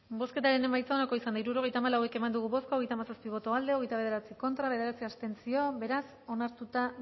bozketaren emaitza onako izan da hirurogeita hamabost eman dugu bozka hogeita hamazazpi boto aldekoa hogeita bederatzi contra bederatzi abstentzio beraz onartuta